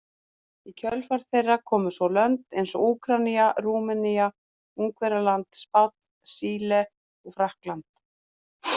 Í kjölfar þeirra komu svo lönd eins og Úkraína, Rúmenía, Ungverjaland, Spánn, Síle og Frakkland.